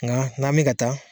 Nka n'a me ka taa